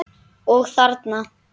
Og þarna?